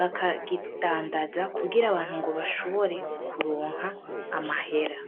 bakakidandaza kugira abantu ngo bashobore kuronka amahera.